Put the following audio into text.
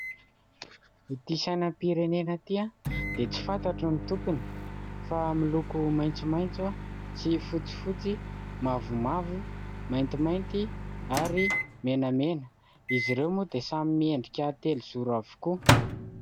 Ity sainam-pirenena ity dia tsy fantatro ny tompony fa miloko maitsomaitso sy fotsifotsy, mavomavo, maintimainty ary menamena. Izy ireo moa dia samy miendrika telozoro avokoa.